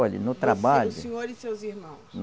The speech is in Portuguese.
Olhe, no trabalho. Você, o senhor e seus irmãos?